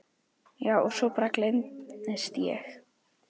Já og svo bara gleymist ég.